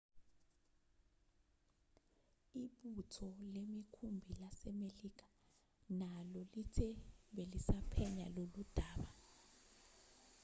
ibutho lemikhumbi lasemelika nalo lithe belisaphenya loludaba